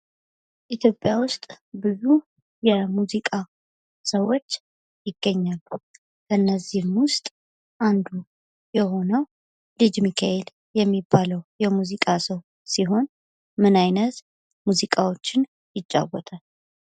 ኢትዮጵያ ውስጥ ብዙ የሙዚቃ ሰዎች ይገኛሉ ። እነዚህም ውስጥ አንዱ የሆነው ልጅ ሚካኤል የሚባለው የሙዚቃ ሰው ሲሆን ምን አይነት ሙዚቃዎችን ይጫወታል ?